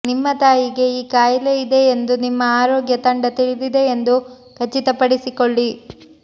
ನಿಮ್ಮ ತಾಯಿಗೆ ಈ ಕಾಯಿಲೆ ಇದೆ ಎಂದು ನಿಮ್ಮ ಆರೋಗ್ಯ ತಂಡ ತಿಳಿದಿದೆ ಎಂದು ಖಚಿತಪಡಿಸಿಕೊಳ್ಳಿ